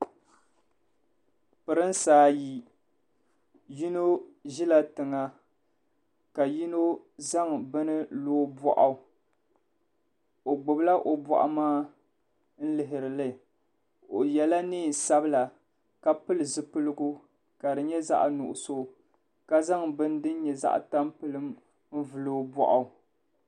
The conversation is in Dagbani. Pirinsi ayi yino ʒila tiŋa ka yino zaŋ bini lo o bɔɣu o gbubila o bɔɣu maa n-lihiri li o yela neen'sabila ka pili zipiligu ka di nyɛ zaɣ'nuɣuso ka zaŋ bini din nyɛ zaɣ'tampilim n-vuli o bɔɣu.